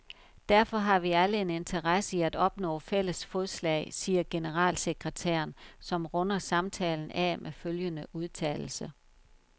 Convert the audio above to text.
Derfor har vi alle en interesse i at opnå fælles fodslag, siger generalsekretæren, som runder samtalen af med følgende udtalelse.